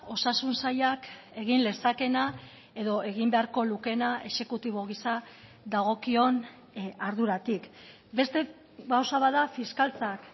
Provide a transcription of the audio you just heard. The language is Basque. osasun sailak egin lezakeena edo egin beharko lukeena exekutibo gisa dagokion arduratik beste gauza bat da fiskaltzak